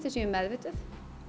við séum meðvituð